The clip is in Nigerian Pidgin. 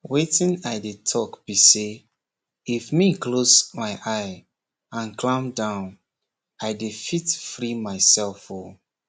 weytin i dey talk bi say if me close my eyes and clam down i dey fit free myself o